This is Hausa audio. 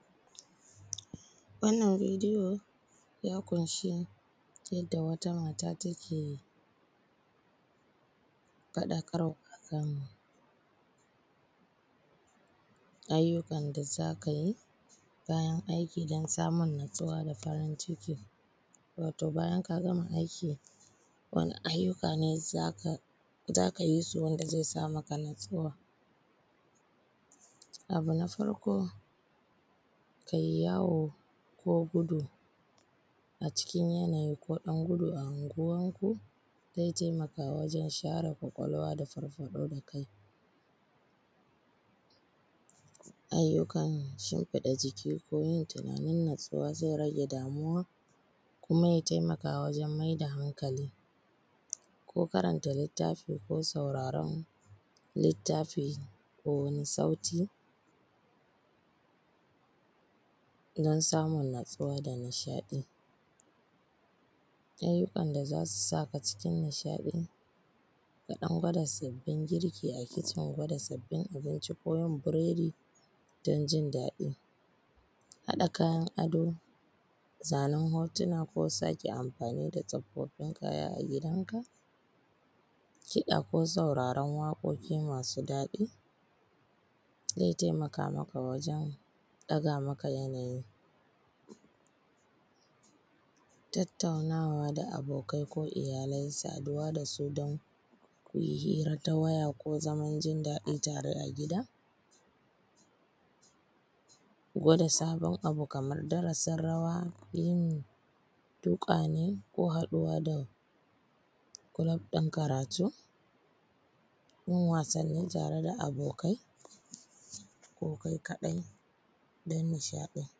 Wannan bidiyo ya ƙunshi yadda wata mata take faɗakarwa akan ayyukan da za ka yi bayan aiki dan samun natsuwa da farinciki, wato bayan ka gama aiki wani ayyuka ne za ka yi su wanda zai sa maka natsuwa. Abu na farko kai yawo ko gudu a cikin yanayi ko ɗan gudu a anguwanku zai taimaka wajen share kwakwalwa da farfaɗo da kai ayyukan shimfiɗan jiki ko yin tunanin natsuwa zai ragge damuwa kuma ya taimaka wajen mai da hankali ko karanta littafi ko sauraran littafi, ko wani sauti na samun natsuwa da nishaɗi. Ayyukan da za su saka cikin nishaɗi dan gwada sabbin girki a cikin dan gwada sabbin abinci ko yin biredi, dan jindaɗi haɗa kayan ado, zanen hotuna ko sake amfani da tsoffin kaya a gidanka, kiɗa ko sauraron waƙoƙi masu daɗi zai taimaka maka wajen ɗaga maka yanayi, tattauna da abokai ko iyalai, saduwa da su dan ku yi hira ta waye ko zaman jindaɗi tare a gida, gwada sabon abu kaman darasin rawa, yin duk wane ko haɗuwa da kulub ɗin karatu, yin wasanni tare da abokai ko kai kaɗai dan nishaɗi.